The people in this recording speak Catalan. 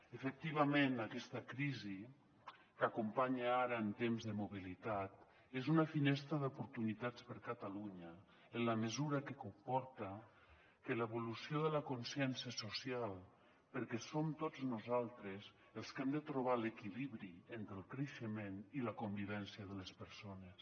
efectivament aquesta crisi que acompanya ara en temps de mobilitat és una finestra d’oportunitats per a catalunya en la mesura que comporta l’evolució de la consciència social perquè som tots nosaltres els que hem de trobar l’equilibri entre el creixement i la convivència de les persones